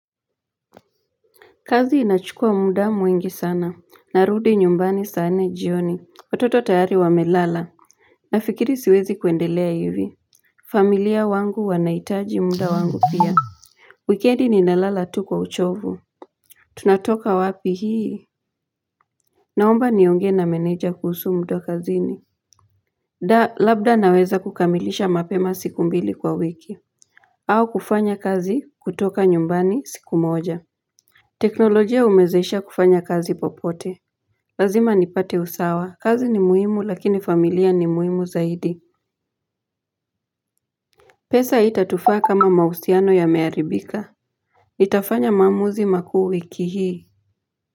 Kazi inachukua muda mwingi sana, narudi nyumbani saa nne jioni, watoto tayari wamelala, nafikiri siwezi kuendelea hivi, familia wangu wanaitaji muda wangu pia. Wikendi ninalala tu kwa uchovu. Tunatoka wapi hii? Naomba niongee na menedja kuhusu muda kazini. Da, labda naweza kukamilisha mapema siku mbili kwa wiki. Au kufanya kazi kutoka nyumbani siku moja. Teknolojia umezesha kufanya kazi popote. Lazima ni pate usawa. Kazi ni muhimu lakini familia ni muhimu zaidi. Pesa itatufaa kama mausiano ya mearibika. Itafanya maamuzi makuu wiki hii.